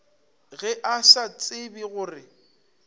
ge a sa tsebe gore